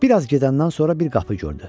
Bir az gedəndən sonra bir qapı gördü.